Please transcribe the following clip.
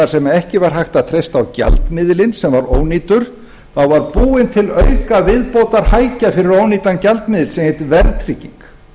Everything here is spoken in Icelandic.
sem ekki var hægt að treysta á gjaldmiðilinn sem var ónýtur þá var búin til aukaviðbótarhækja fyrir ónýtan gjaldmiðil sem hét verðtrygging